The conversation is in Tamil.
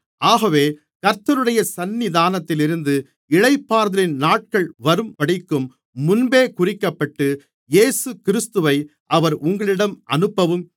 ஆகவே கர்த்தருடைய சந்நிதானத்திலிருந்து இளைப்பாறுதலின் நாட்கள் வரும்படிக்கும் முன்பே குறிக்கப்பட்ட இயேசுகிறிஸ்துவை அவர் உங்களிடம் அனுப்பவும்